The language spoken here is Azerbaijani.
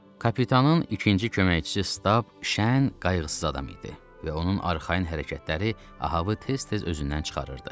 Kapitanın ikinci köməkçisi Stab, şən, qayğısız adam idi və onun arxayın hərəkətləri Ahabı tez-tez özündən çıxarırdı.